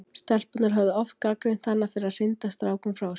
Stelpurnar höfðu oft gagnrýnt hana fyrir að hrinda strákum frá sér.